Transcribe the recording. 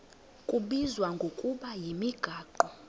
kubizwa ngokuba yimigaqo